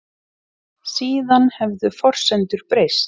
Síðan hefðu forsendur breyst